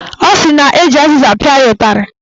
Ọ sị na eji azịza pịa ya ụtarị.